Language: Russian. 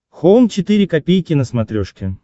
хоум четыре ка на смотрешке